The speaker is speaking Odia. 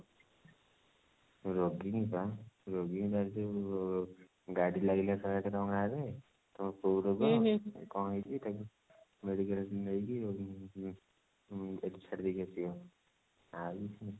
ରୋଗୀ ହିଁ ବା ରୋଗୀ ଯଉ ଗାଡି ରେ ଲାଗିଥାଏ ଶହେ ଆଠ କଉ ରୋଗ କଣ ହେଇଛି ତାକୁ medical ନେଇକି ଉଁ ଛାଡିଦେଇକି ଆସିବ ଆଉ